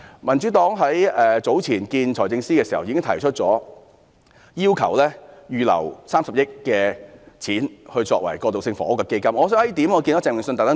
民主黨早前與財政司司長會面時已要求他預留30億元，作為興建過渡性房屋的基金。